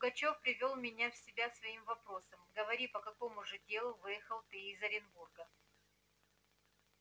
но пугачёв привёл меня в себя своим вопросом говори по какому же делу выехал ты из оренбурга